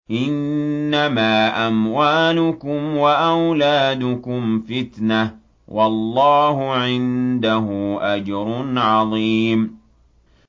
إِنَّمَا أَمْوَالُكُمْ وَأَوْلَادُكُمْ فِتْنَةٌ ۚ وَاللَّهُ عِندَهُ أَجْرٌ عَظِيمٌ